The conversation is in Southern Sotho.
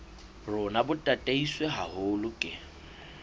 rona bo tataiswe haholo ke